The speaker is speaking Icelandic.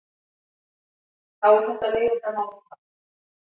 Þá er þetta leiðindamál frá.